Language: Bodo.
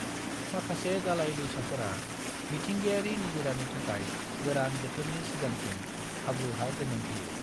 माखासे दालाय दैसाफोरा मिथिंगायारि निजिरानि थाखाय गोरान बोथोरनि सिगांथिं हाब्रु हा जोनोम होयो।